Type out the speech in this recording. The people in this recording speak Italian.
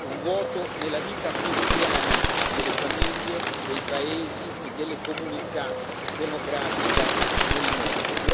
Un vuoto nella vita quotidiana delle famiglie, dei paesi e della comunità democratica nel mondo.